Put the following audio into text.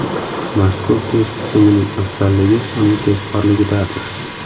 Mazkur test tizimining afzalligi uning tezkorligidadir.